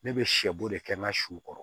Ne bɛ sɛbo de kɛ n ka su kɔrɔ